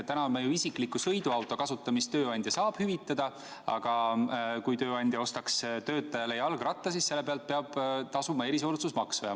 Täna ju isikliku sõiduauto kasutamist tööandja saab hüvitada, aga kui tööandja ostaks töötajale jalgratta, siis selle pealt peaks ta tasuma erisoodustusmaksu.